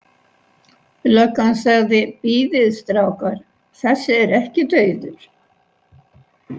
Löggan sagði: Bíðið strákar, þessi er ekki dauður.